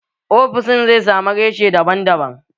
Ofishin zai samu reshe daban daban